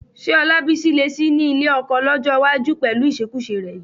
Ṣé Ọlábísí lè sì ní ọkọ lọ́jọ́ iwájú pẹ̀lú ìṣekúṣe rẹ yìí?